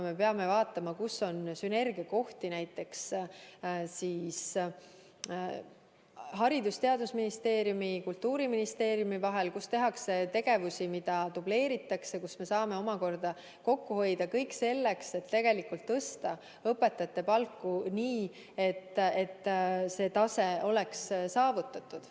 Me peame vaatama, kus on sünergiakohti näiteks Haridus- ja Teadusministeeriumi ja Kultuuriministeeriumi vahel – kus tegevusi dubleeritakse, kus me saame kokku hoida, et tõsta õpetajate palku, nii et soovitud tase oleks saavutatud.